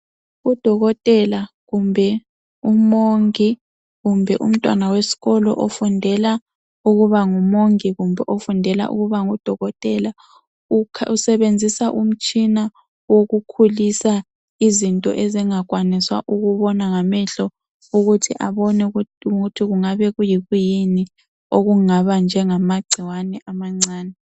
Udokotela kumbe umongi kumbe umntwana wesikolo ofundela ukuba ngumongi kumbe ofundela ukuba ngudokotela usebenzisa umshina okukhulisa izinto ezingakwaniswa ukubonwa ngamehlo ukuthi abone ukuthi kungaba kuyikuyini okungaba njengamagcikwane amancane.